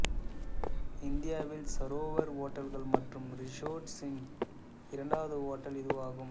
இந்தியாவில் சரோவர் ஹோட்டல்கள் மற்றும் ரிசோர்ட்ஸின் இரண்டாவது ஹோட்டல் இதுவாகும்